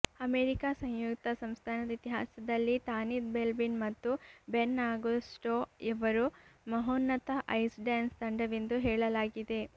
America ಸಂಯುಕ್ತ ಸಂಸ್ಥಾನದ ಇತಿಹಾಸದಲ್ಲಿ ತಾನಿತ್ ಬೆಲ್ಬಿನ್ ಮತ್ತು ಬೆನ್ ಅಗೋಸ್ಟೋ ಅವರು ಮಹೋನ್ನತ ಐಸ್ ಡ್ಯಾನ್ಸ್ ತಂಡವೆಂದು ಹೇಳಲಾಗಿದೆ